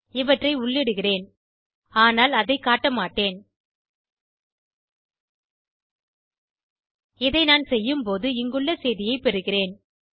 இவற்றை உள்ளிடுகிறேன் ஆனால் அதை காட்ட மாட்டேன் இதை நான் செய்யும் போது இங்குள்ள செய்தியை பெறுகிறேன்